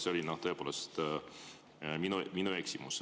See oli tõepoolest minu eksimus.